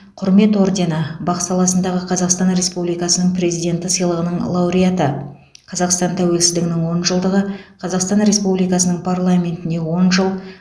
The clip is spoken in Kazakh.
құрмет ордені бақ саласындағы қазақстан республикасының президенті сыйлығының лауреаты қазақстан тәуелсіздігінің он жылдығы қазақстан республикасының парламентіне он жыл